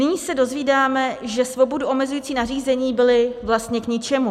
Nyní se dozvídáme, že svobodu omezující nařízení byla vlastně k ničemu.